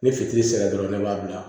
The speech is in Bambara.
Ni fitiri sera dɔrɔn ne b'a bila